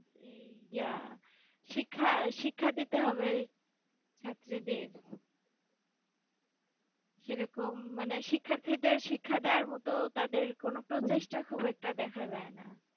যে ইয়া শিক্ষা শিক্ষা দিতে হবে, ছাত্রীদের, সেরকম মনে শিক্ষার্থীদের শিক্ষা দেওয়ার মত তাদের কোনো প্রচেষ্টা খুব একটা দেখা যায় না।